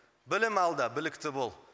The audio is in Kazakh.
білім алда білікті бол